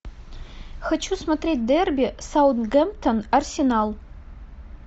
хочу смотреть дерби саутгемптон арсенал